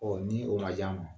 Ɔn ni o ma ja ma